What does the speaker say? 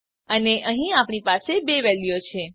અને અહીં આપણી પાસે બે વેલ્યુઓ છે